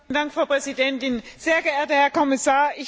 Frau Präsidentin, sehr geehrter Herr Kommissar!